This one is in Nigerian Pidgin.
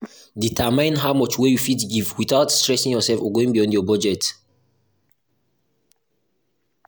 determine how much wey you fit give without stressing yourself or going beyound your budget